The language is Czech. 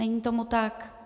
Není tomu tak?